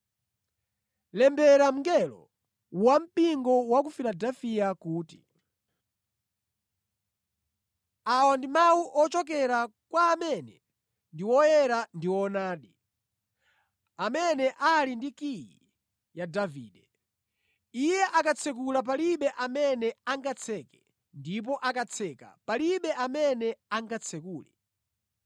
“Lembera mngelo wampingo wa ku Filadefiya kuti: Awa ndi mawu ochokera kwa amene ndi woyera ndi woonadi, amene ali ndi kiyi ya Davide. Iye akatsekula palibe amene angatseke; ndipo akatseka palibe amene angatsekule.